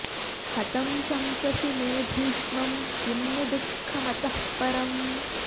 हतं शंससि मे भीष्मं किं नु दुःखमतः परम्